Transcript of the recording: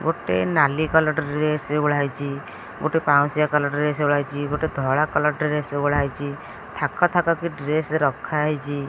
ଗୋଟେ ନାଲି colour dress ଓଳା ହେଇଚି ଗୋଟେ ପାଉଁଶିଆ କଲର୍ ଡ୍ରେସ ଓଳା ହେଇଚି ଗୋଟେ ଧଳା କଲର୍ ଡ୍ରେସ ଓଳା ହେଇଚି ଥାକ ଥାକ କି ଡ୍ରେସ ରଖା ହେଇଚି।